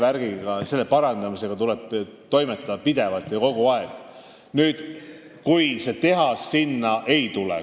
Sealse vee seisundi parandamisega tuleb toimetada pidevalt ja kogu aeg siis, kui seda tehast sinna ei tule.